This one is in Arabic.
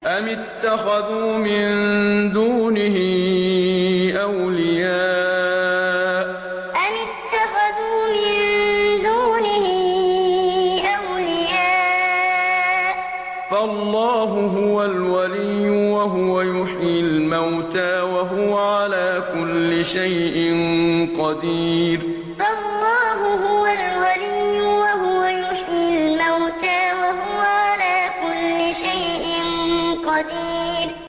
أَمِ اتَّخَذُوا مِن دُونِهِ أَوْلِيَاءَ ۖ فَاللَّهُ هُوَ الْوَلِيُّ وَهُوَ يُحْيِي الْمَوْتَىٰ وَهُوَ عَلَىٰ كُلِّ شَيْءٍ قَدِيرٌ أَمِ اتَّخَذُوا مِن دُونِهِ أَوْلِيَاءَ ۖ فَاللَّهُ هُوَ الْوَلِيُّ وَهُوَ يُحْيِي الْمَوْتَىٰ وَهُوَ عَلَىٰ كُلِّ شَيْءٍ قَدِيرٌ